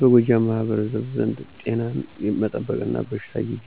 በጎጃም ማህበረሰብ ዘንድ ጤናን መጠበቅና በበሽታ ጊዜ